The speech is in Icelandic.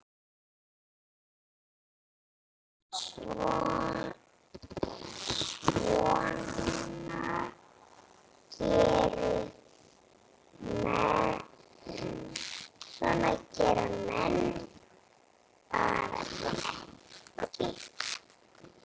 Svona gera menn bara ekki.